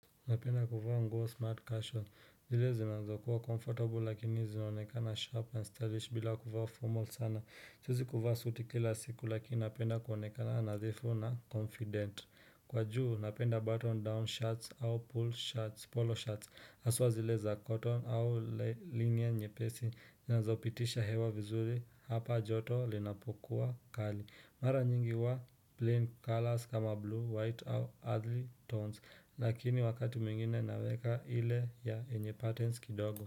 Napenda kuvaa nguo smart casual. Zile zinaweza kuwa comfortable lakini zinaonekana sharp and stylish bila kuwa formal sana. Siwezi kuvaa suiti kila siku lakini napenda kuonekana nadhifu na confident. Kwa juu napenda button down shirts au pull shirts, polo shirts. Aswa zileza cotton au linia nyepesi. Zinanzo pitisha hewa vizuri hapa joto linapokuwa kali. Mara nyingi huwa plain colors kama blue, white au earthly tones Lakini wakati mingine naweka ile ya enye patterns kidogo.